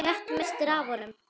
Þú rétt misstir af honum.